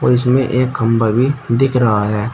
और इसमें एक खंभा भी दिख रहा है।